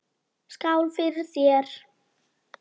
Skál fyrir þér!